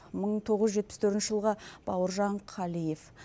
мың тоғыз жүз жетпіс төртінші жылғы бауыржан қалиев